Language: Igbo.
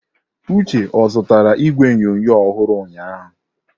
Uche ozụtara igwe onyonyo ọhụrụ ụnyahụ?